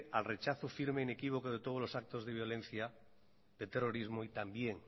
al rechazo firme e inequívoco de todos los actos de violencia de terrorismo y también